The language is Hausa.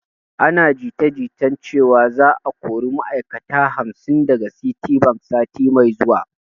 Ana jita jita cewan za a kori ma'ai'kata hamsin daga citibank sati mai zuwa